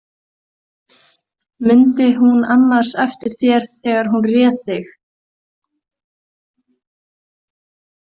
Mundi hún annars eftir þér þegar hún réð þig?